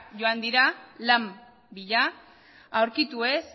joan dira lan bila aurkitu ez